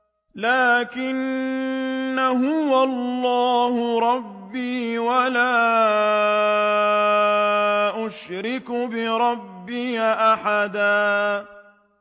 لَّٰكِنَّا هُوَ اللَّهُ رَبِّي وَلَا أُشْرِكُ بِرَبِّي أَحَدًا